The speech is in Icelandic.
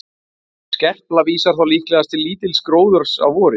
skerpla vísar þá líklegast til lítils gróðurs að vori